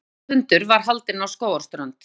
Framboðsfundur var haldinn á Skógarströnd.